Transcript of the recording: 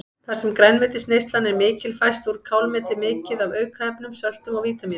Þar sem grænmetisneyslan er mikil fæst úr kálmeti mikið af aukaefnum, söltum og vítamínum.